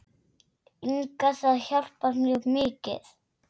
Inga Það hjálpar mjög mikið.